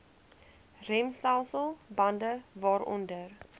remstelsel bande waaronder